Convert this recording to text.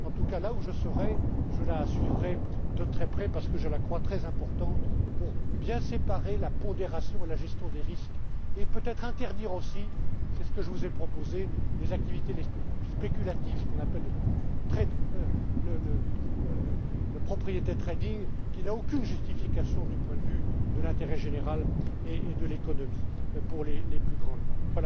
réforme. En tout cas, là où je serai, je la suivrai de très près parce que je la crois très importante pour bien séparer la pondération et la gestion des risques et peut être interdire aussi c'est ce que je vous ai proposé les activités les plus spéculatives, ce qu'on appelle le property trading qui n'a aucune justification du point de vue de l'intérêt général et de l'économie pour les plus grandes